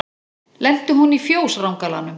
Lenti hún í fjós rangalanum.